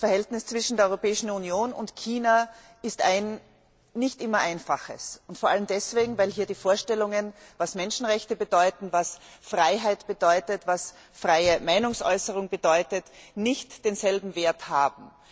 Das Verhältnis zwischen der Europäischen Union und China ist ein nicht immer einfaches. Vor allem deswegen, weil hier die Vorstellungen, was Menschenrechte bedeuten, was Freiheit bedeutet, was freie Meinungsäußerung bedeutet, nicht denselben Wert haben.